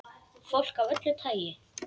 Fólk af öllu tagi.